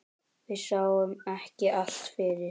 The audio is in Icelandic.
Við sáum ekki allt fyrir.